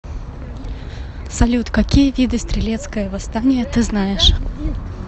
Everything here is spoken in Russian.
салют какие виды стрелецкое восстание ты знаешь